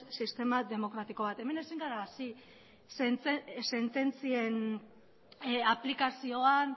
sistema demokratiko bat hemen ezin gara hasi sententzien aplikazioan